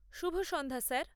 শুভ সন্ধ্যা , স্যার!